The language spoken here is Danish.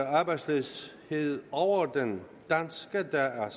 arbejdsløshed over den danske der er